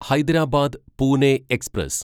Hyderabad Pune express